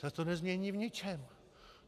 Ta to nezmění v ničem!